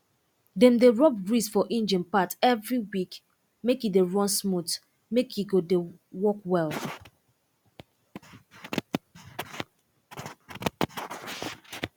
dem dey rub grease for engine part every week make e dey run smooth make e go de work well